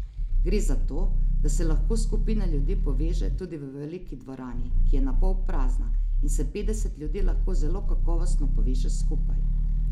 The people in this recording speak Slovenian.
Gre za to, da se lahko skupina ljudi poveže tudi v veliki dvorani, ki je na pol prazna, in se petdeset ljudi lahko zelo kakovostno poveže skupaj.